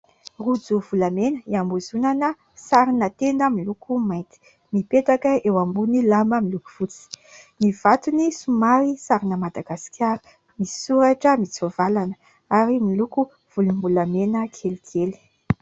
Rojo volamena hiambozonana sarina tenda miloko mainty mipetaka eo ambony lamba miloko fotsy, ny vatony somary sarina Madagasikara misoratra mitsovalana ary miloko volom-bolamena kelikely.